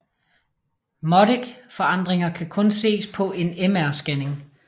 Modic forandringer kan kun ses på en MR scanning